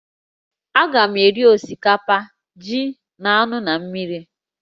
Agam eri osikapa, ji, na anụ na mmiri